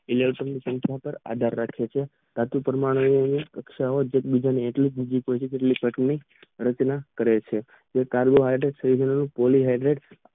electron પાર આધાર રાખે છે જેથી તમારે સહ સંયોજક બન બનાવે છેજે કાર્ય માટે